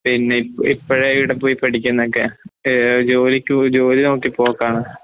പിന്നെ ഇപ് ഇപ്പഴേഇവിടെപോയിപഠിക്കുന്നൊക്കെ ഏഹ് ജോലിക്ക്പോയി ജോലിനോക്കിപോക്കാണ്.